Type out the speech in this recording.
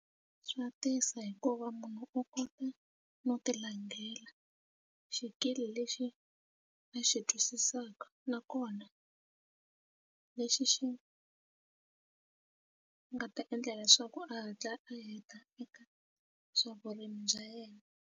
Swa tisa hikuva munhu u kota no ti langela xikili lexi a xi twisisaka nakona lexi xi nga ta endla leswaku a hatla a heta eka swa vurimi bya yena.